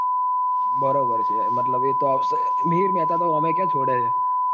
બરોબર છે મતલબ એ તો આવશે મિહિર મહેતા તો ઓમય ક્યાં છોડે છે